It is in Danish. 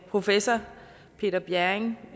professor peter bjerring